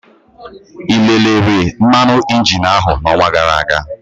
Ị lelere mmanụ injin áhụ n'ọnwa gara aga?